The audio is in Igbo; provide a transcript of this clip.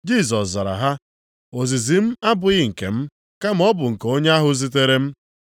Jisọs zara ha, “Ozizi m abụghị nke m, kama ọ bụ nke onye ahụ zitere m.